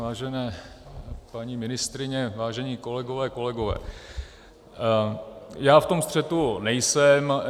Vážené paní ministryně, vážené kolegyně, kolegové, já v tom střetu nejsem.